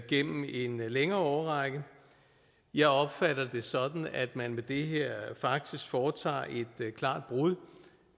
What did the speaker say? gennem en længere årrække jeg opfatter det sådan at man med det her faktisk foretager et klart brud